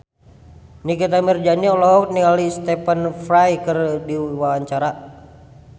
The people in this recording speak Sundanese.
Nikita Mirzani olohok ningali Stephen Fry keur diwawancara